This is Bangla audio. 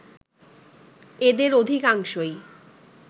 এদের অধিকাংশই